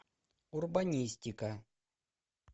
урбанистика